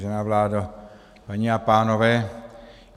Vážená vládo, paní a pánové.